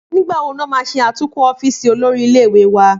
Nígbà wo ni wọn máa ṣe atúnkó ọ́fíìsì olórí ilé ìwé wa